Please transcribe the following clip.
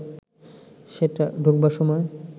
সেটা ঢুকবার সময়